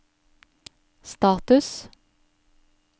status